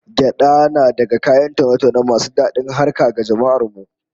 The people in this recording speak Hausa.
Gyada na daga kayan taune-taune masu dadin harkar ga jama'ar mu